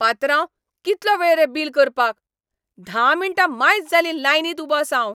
पात्रांव, कितलो वेळ रे बील करपाक. धा मिण्टां मायज जालीं लायनींत उबो आसा हांव.